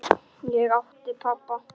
Ég átti pabba.